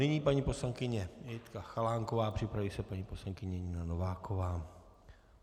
Nyní paní poslankyně Jitka Chalánková, připraví se paní poslankyně Nina Nováková.